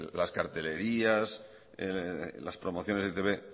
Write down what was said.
las cartelerías las promociones de e i te be